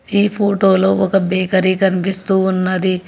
ఈ ఫోటోలో ఒక బేకరీ కనిపిస్తూ ఉన్నది.